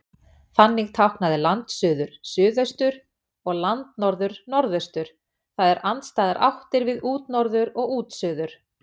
Þannig táknaði landsuður suðaustur, og landnorður, norðaustur, það er andstæðar áttir við útnorður og útsuður.